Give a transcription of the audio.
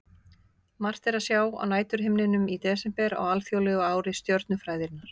Margt er að sjá á næturhimninum í desember á alþjóðlegu ári stjörnufræðinnar.